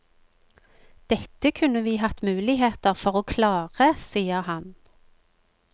Dette kunne vi hatt muligheter for å klare, sier han.